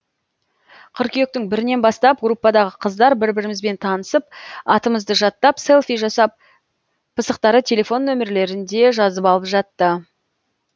қыркүйектің бірінен бастап группадағы қыздар бір бірімізбен танысып атымызды жаттап селфи жасап пысықтары телефон номерлерінде жазып алып жатты